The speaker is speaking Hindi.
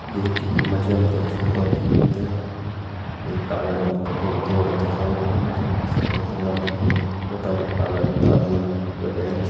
ये चित्र मा जी हम देख सकदो की हमथे यखम एक काला रंगु को बडू बोर्ड दिखेण लग्युं जैफर सफ़ेद रंगा मा लिख्युं होटल अनंता इन वेका एैंच --